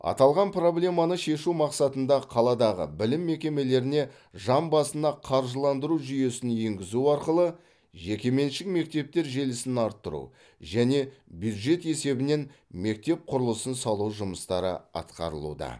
аталған проблеманы шешу мақсатында қаладағы білім мекемелеріне жан басына қаржыландыру жүйесін енгізу арқылы жекеменшік мектептер желісін арттыру және бюджет есебінен мектеп құрылысын салу жұмыстары атқарылуда